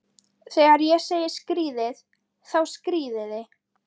Þegar ég segi skríðið, þá skríðið þið.